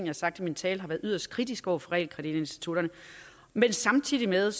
har sagt i min tale har været yderst kritiske over for realkreditinstitutterne men samtidig med